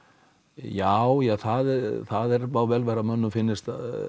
já já það það má vel vera að mönnum finnist